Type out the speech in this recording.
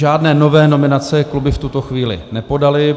Žádné nové nominace kluby v tuto chvíli nepodaly.